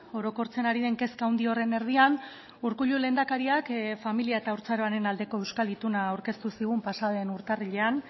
orokortzen ari den kezka handi horren erdian urkullu lehendakariak familia eta haurtzaroaren aldeko euskal ituna aurkeztu zigun pasaden urtarrilean